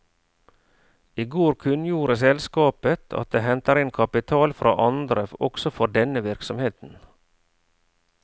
I går kunngjorde selskapet at det henter inn kapital fra andre også for denne virksomheten.